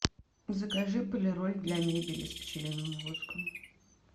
закажи полироль для мебели с пчелиным воском